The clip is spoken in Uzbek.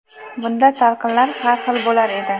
Bunda talqinlar har xil bo‘lar edi.